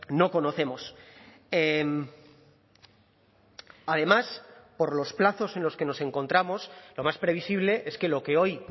no conocemos además por los plazos en los que nos encontramos lo más previsible es que lo que hoy